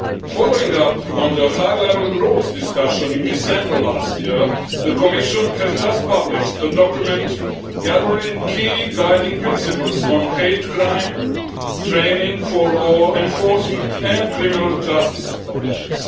Following up on the high level group's discussion in December last year, the Commission has just published a document gathering key guiding principles on hate crime training for law enforcement and criminal justice authorities.